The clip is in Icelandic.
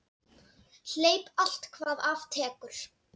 Hleyp allt hvað af tekur.